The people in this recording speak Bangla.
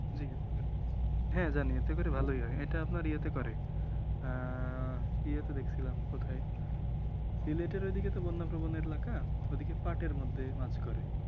হ্যাঁ জানি এতে করে ভালই হয় এটা আপনার ইয়াতে করে ইয়াতে দেখছিলাম কোথায় সিলেটের ঐদিকে তো বন্যা প্রবন এলাকা ওদিকে পাটের মধ্য মাছ করে ।